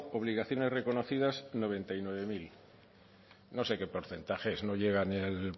obligaciones reconocidas noventa y nueve mil no sé qué porcentaje es no llega ni al